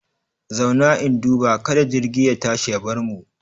Zauna! in duba kada jirgi ya tashi ya bar mu.